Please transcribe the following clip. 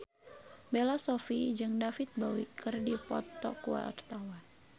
Bella Shofie jeung David Bowie keur dipoto ku wartawan